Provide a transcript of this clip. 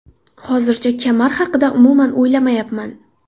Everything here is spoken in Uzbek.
Hozircha kamar haqida umuman o‘ylamayapman.